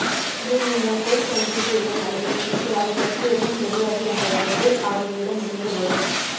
ஒன்று நீங்கள் பொய் சொல்கிறீர்கள் அல்லது உங்களுக்கு அதைப் பற்றி எதுவும் தெரியாது என்ற விதத்தில் அவர்களிடம் இருந்து வரும்